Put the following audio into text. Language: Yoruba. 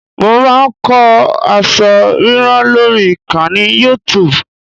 Mo máa ń kọ́ aṣọ ríran lórí ìkànnì Youtub